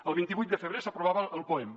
el vint vuit de febrer s’aprovava el poem